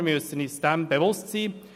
Wir müssen uns dessen bewusst sein.